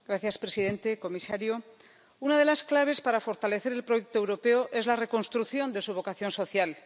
Señor presidente, comisario, una de las claves para fortalecer el proyecto europeo es la reconstrucción de su vocación social.